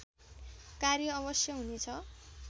कार्य अवश्य हुनेछ